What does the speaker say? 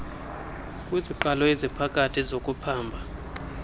kwiziqalo eziphakathi zokuphamba